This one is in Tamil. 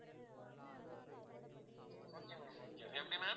okay ma'am okay எப்படி ma'am